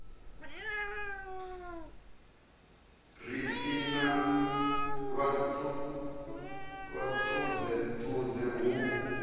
ri i na vhuṱudzeṱudze hu